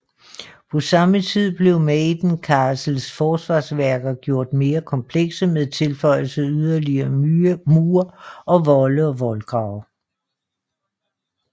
På samme tid blev Maiden Castles forsvarsværker gjort mere komplekse med tilføjelse af yderligere mure og volde og voldgrave